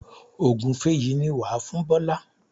Ògúnfe yìí ni wà á fún Bọ́lá.